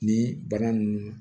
Ni bana nunnu